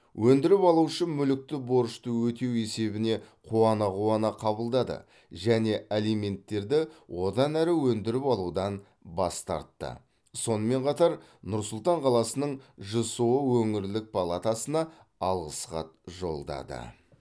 өндіріп алушы мүлікті борышты өтеу есебіне қуана қуана қабылдады және алименттерді одан әрі өндіріп алудан бас тартты сонымен қатар нұр сұлтан қаласының жсо өңірлік палатасына алғыс хат жолдады